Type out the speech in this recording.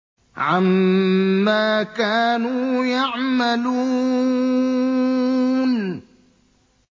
عَمَّا كَانُوا يَعْمَلُونَ